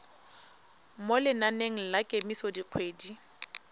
mo lenaneng la kemiso dikgwedi